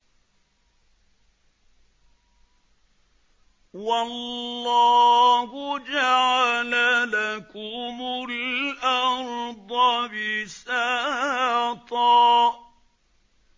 وَاللَّهُ جَعَلَ لَكُمُ الْأَرْضَ بِسَاطًا